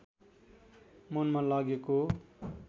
मनमा लागेको